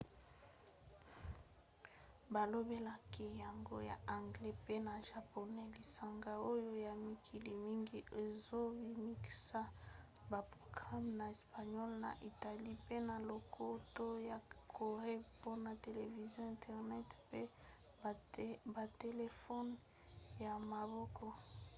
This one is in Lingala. balobelaki yango na anglais pe na japonais lisanga oyo ya mikili mingi ezobimisa baprograme na espagnole na italien pe na lokota ya corée mpona television internet pe batelefone ya maboko